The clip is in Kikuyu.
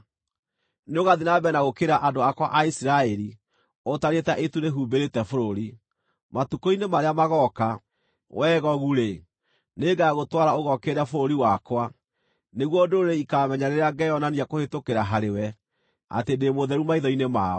Nĩũgathiĩ na mbere na gũũkĩrĩra andũ akwa a Isiraeli ũtariĩ ta itu rĩhumbĩrĩte bũrũri. Matukũ-inĩ marĩa magooka, wee Gogu-rĩ, nĩngagũtwara ũgookĩrĩre bũrũri wakwa, nĩguo ndũrĩrĩ ikaamenya rĩrĩa ngeyonania kũhĩtũkĩra harĩwe atĩ ndĩ mũtheru maitho-inĩ mao.